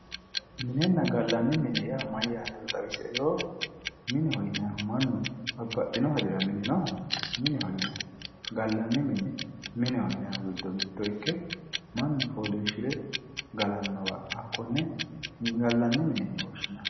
Minenna gallani mine yaa mayyaatero xawisie yoo? Mineho yinannihu mannu babbaxino hajora mineho yinayi. Gallanni mine, mineho yinannihu gido mitto ikke mannu fooliishshire galannowa konne gallanni mine yine woshshinayi.